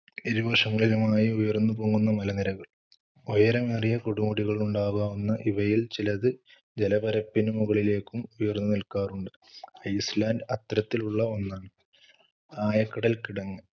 ഇരുവശങ്ങളിലുമായി ഉയർന്നുപൊങ്ങുന്ന മലനിരകൾ. ഉയരമേറിയ കൊടുമുടികളുണ്ടാകാവുന്ന ഇവയിൽ ചിലത് ജലപരപ്പിന് മുകളിലേക്കും ഉയർന്നുനിൽക്കാറുണ്ട്. ഐസ്‌ലാൻഡ് അത്തരത്തിലുള്ള ഒന്നാണ്. ആയക്കടൽക്കിടങ്ങ്,